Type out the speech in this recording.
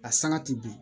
A sanga ti bin